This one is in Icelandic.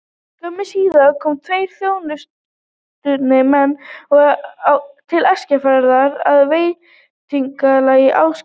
Skömmu síðar komu tveir þjóðkunnir menn til Eskifjarðar að vetrarlagi, Ásgeir